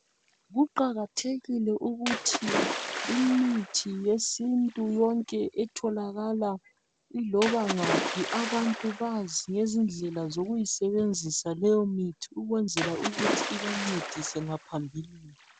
Kuqakathekile ukuthi imithi yesintu yonke etholakala ilobangaphi abantu bazi izindlela zokuyisebenzisa leyo mithi ukwenzela ukuthi ibancedise ngaphambilini.